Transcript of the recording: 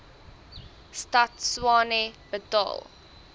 stad tshwane betaal